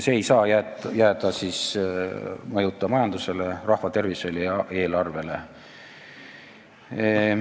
See ei saa jääda mõjuta majandusele, rahvatervisele ja eelarvele.